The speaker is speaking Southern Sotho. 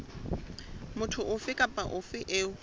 motho ofe kapa ofe eo